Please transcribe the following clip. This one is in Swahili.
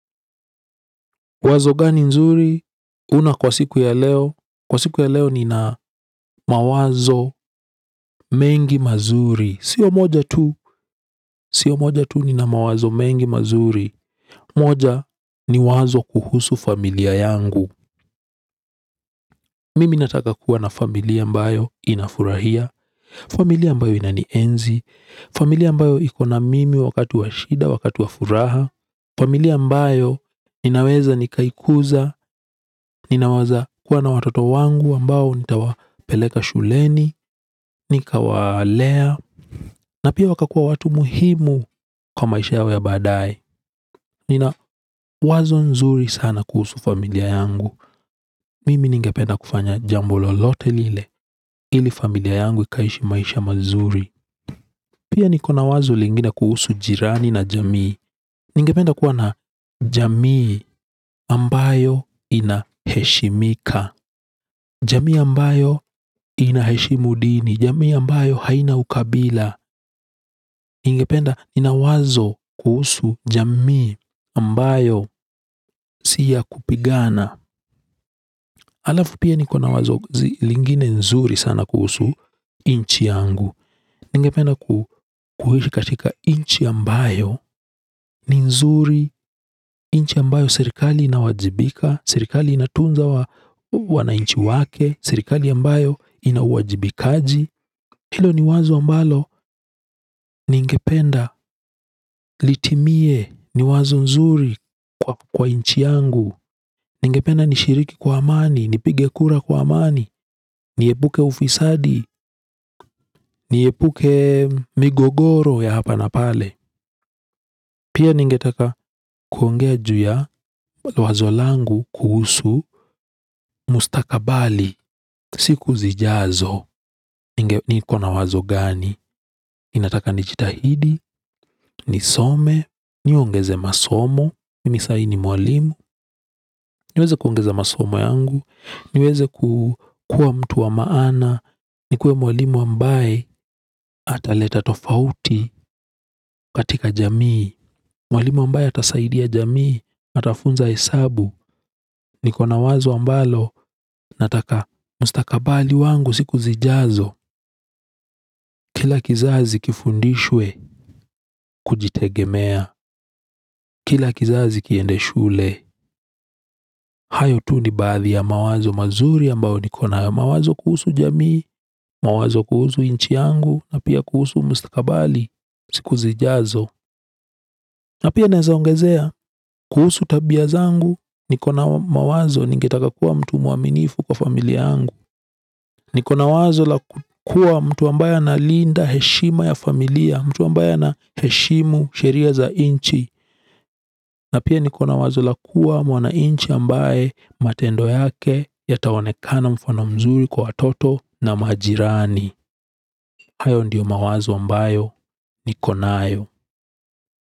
Wazo gani nzuri? Una kwa siku ya leo? Kwa siku ya leo nina mawazo mengi mazuri. Siyo moja tu, siyo moja tu nina mawazo mengi mazuri. Moja ni wazo kuhusu familia yangu. Mimi nataka kuwa na familia ambayo inafurahia, familia ambayo inanienzi, familia ambayo iko na mimi wakati wa shida, wakati wa furaha, familia ambayo ninaweza nikaikuza, ninaweza kuwa na watoto wangu ambao nitawapeleka shuleni, nikawalea, na pia wakakuwa watu muhimu kwa maisha yao ya baadae. Nina wazo nzuri sana kuhusu familia yangu. Mimi ningependa kufanya jambo lolote lile ili familia yangu ikaishi maisha mazuri. Pia niko na wazo lingine kuhusu jirani na jamii. Ningependa kuwa na jamii ambayo inaheshimika. Jamii ambayo inaheshimu dini jamii ambayo haina ukabila. Ningependa nina wazo kuhusu jamii ambayo si ya kupigana. Halafu pia niko na wazo lingine nzuri sana kuhusu nchi yangu. Ningependa kuishi katika nchi ambayo ni nzuri nchi ambayo serikali inawajibika serikali inatunza wananchi wake serikali ambayo ina uwajibikaji hilo ni wazo ambalo ningependa litimie ni wazo nzuri kwa nchi yangu. Ningependa nishiriki kwa amani nipige kura kwa amani niepuke ufisadi niepuke migogoro ya hapa na pale pia ningetaka kuongea juu ya wazo langu kuhusu mustakabali. Siku zijazo, niko na wazo gani nataka nijitahidi, nisome, niongeze masomo mimi saa hii ni mwalimu, niweze kuongeza masomo yangu niweze kuwa mtu wa maana, nikuwe mwalimu ambaye ataleta tofauti katika jamii. Mwalimu ambaye atasaidia jamii atafunza hesabu niko na wazo ambalo nataka mustakabali wangu siku zijazo. Kila kizazi kifundishwe kujitegemea. Kila kizazi kiende shule hayo tu ni baadhi ya mawazo mazuri ambayo niko nayo mawazo kuhusu jamii mawazo kuhusu nchi yangu na pia kuhusu mustakabali siku zijazo. Na pia naweza ongezea kuhusu tabia zangu niko na mawazo ningetaka kuwa mtu mwaminifu kwa familia yangu. Niko na wazo la kuwa mtu ambaye analinda heshima ya familia mtu ambaye anaheshimu sheria za nchi. Na pia niko na wazo la kuwa mwananchi ambaye matendo yake yataonekana mfano mzuri kwa watoto na majirani hayo ndiyo mawazo ambayo niko nayo.